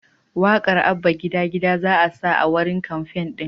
Waƙar “Abba Gida Gida" za'a sa a wurin kamfen ɗin.